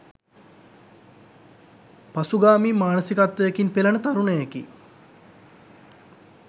පසුගාමී මානසිකත්වයකින් පෙළෙන තරුණයෙකි